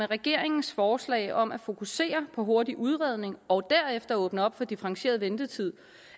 regeringens forslag om at fokusere på hurtig udredning og derefter åbne op for differentieret ventetid